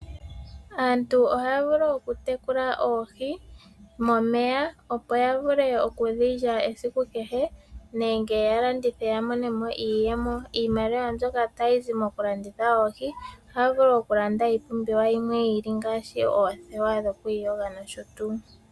Aantu ohaya vulu okutekulwa oohii momeya opo yavule okudhilya esiku kehe nenge yalandithe yamonemo iiyemo, iimaliwa yawo mbyoka tayizi mokulanditha oohii ohayavulu okulanda ipumbiwa yimwe yili ngashi oothewa dhokwiyonga nosho tu.